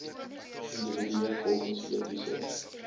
individue volgens etiese